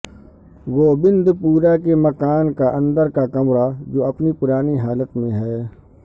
گوبندپورہ کے مکان کا اندر کا کمرہ جو اپنی پرانی حالت میں ہے